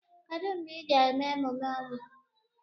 Kedu mgbe ị ga-eme emume ọnwụ?